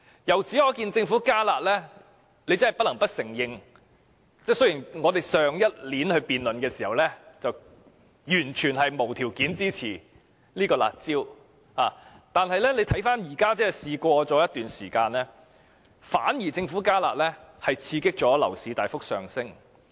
由此可見，真的不得不承認，雖然我們去年辯論的時候，完全是無條件地支持"辣招"，但相隔了一段時間，我們看到政府"加辣"反而刺激了樓市大幅上升。